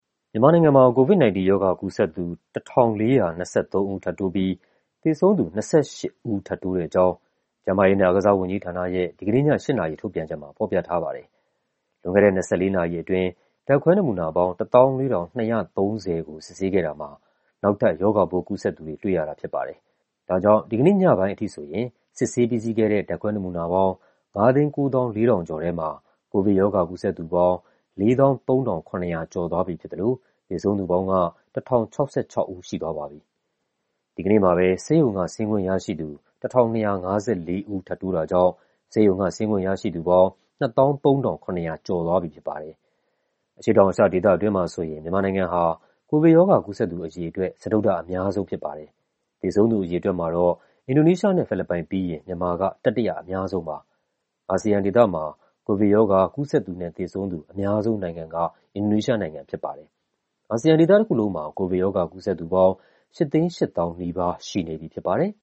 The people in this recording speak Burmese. မြန်မာနိုင်ငံမှာ COVID-19 ရောဂါကူးစက်သူ ၁,၄၂၃ ဦး ထပ်တိုးပြီး သေဆုံးသူ ၂၈ ဦး ထပ်တိုးတဲ့အကြောင်း ကျန်းမာရေးနဲ့ အားကစားဝန်ကြီးဌာနရဲ့ ဒီကနေ့ည ၈ နာရီ ထုတ်ပြန်ချက်မှာ ဖော်ပြထားပါတယ်။ လွန်ခဲ့တဲ့ ၂၄ နာရီအတွင်း ဓာတ်ခွဲနမူနာပေါင်း ၁၄,၂၃၀ ခုကို စစ်ဆေးခဲ့တာမှာ နောက်ထပ် ရောဂါပိုးကူးစက်သူတွေ တွေ့ရတာဖြစ်ပါတယ်။ ဒါကြောင့် ဒီကနေ့ညပိုင်းအထိဆိုရင် စစ်ဆေးပြီးစီးခဲ့တဲ့ ဓာတ်ခွဲနမူနာပေါင်း ၅၉၄,၁၅၁ ခုထဲမှာ ကိုဗစ်ရောဂါ ကူးစက်သူပေါင်း ၄၃,၇၈၈ ဦး ရှိသွားပြီဖြစ်သလို သေဆုံးသူပေါင်းက ၁,၀၆၆ ဦး ရှိသွားပါပြီ။ ဒီကနေ့မှာပဲ ဆေးရုံက ဆင်းခွင့်ရရှိသူ ၁,၂၅၄ ဦး ထပ်တိုးတာကြောင့် ဆေးရုံက ဆင်းခွင့်ရရှိသူပေါင်း ၂၃,၇၀၈ ဦး ရှိသွားပြီဖြစ်ပါတယ်။ အရှေ့တောင်အာရှဒေသအတွင်းမှာဆိုရင် မြန်မာနိုင်ငံဟာ ကိုဗစ်ရောဂါ ကူးစက်သူ အရေအတွက် စတုတ္ထအများဆုံး ဖြစ်ပါတယ်။ သေဆုံးသူအရေအတွက်မှာတော့ အင်ဒိုနီးရှားနဲ့ ဖိလစ်ပိုင်ပြီးရင် မြန်မာက တတိယအများဆုံးပါ။ အာဆီယံဒေသမှာ ကိုဗစ်ရောဂါ ကူးစက်သူနဲ့ သေဆုံးသူ အများဆုံးနိုင်ငံက အင်ဒိုနီးရှားနိုင်ငံ ဖြစ်ပါတယ်။ အာဆီယံဒေသတခုလုံးမှာ ကိုဗစ်ရောဂါ ကူးစက်သူပေါင်း ၈၈၀,၀၀၀ နီးပါး ရှိနေပြီဖြစ်ပါတယ်။